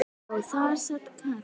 Og þar sat Katrín.